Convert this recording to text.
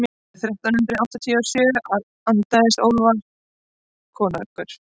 árið þrettán hundrað áttatíu og sjö andaðist ólafur konungur